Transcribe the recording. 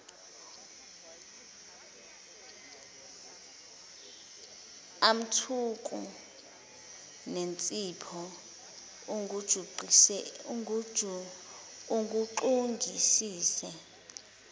amthuku nensipho uguxungisise